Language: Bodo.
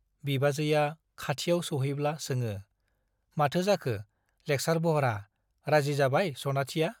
बिबाजैया खाथियाव सौहैब्ला सोङो , माथो जाखो लेक्सार बह्रा , राजि जाबाय सनाथिया ?